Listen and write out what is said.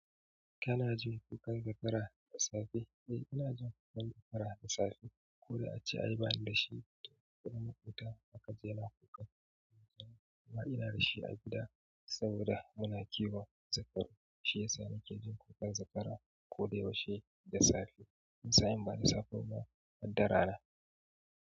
Kana jin kukan zakara da safe? Eh, ina jin kukan zakara da safe. Ko da ace ai bani da shi, ko na ma ƙuta zaka ji yana kuka. Amma ina da shi a gida saboda muna kiwon zakara. Shi ya sa nake jin kukar zakara ko da yaushe da safe. Wani sain bada safe ba ma harda rana.